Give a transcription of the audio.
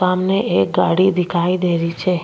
सामने एक गाड़ी दिखाई दे री छे।